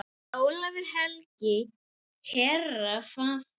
Ólafur helgi, herra, faðir.